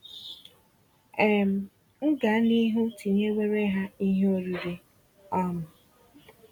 um M gaa n'ihu tinyewere ha Ihe oriri? um